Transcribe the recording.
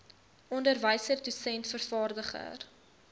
onderwyser dosent vervaardiger